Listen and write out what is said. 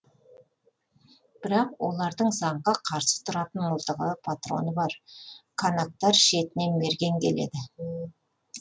бірақ олардың заңға қарсы тұратын мылтығы патроны бар канактар шетінен мерген келеді